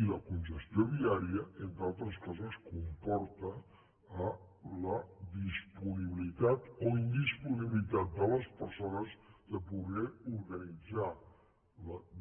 i la congestió viària entre altres coses comporta la disponibilitat o indisponibilitat de les persones de poder organitzar